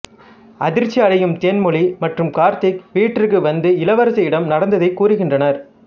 அதிர்ச்சியடையும் தேன்மொழி மற்றும் கார்த்திக் வீட்டிற்கு வந்து இளவரசியிடம் நடந்ததைக் கூறுகின்றனர்